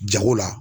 Jago la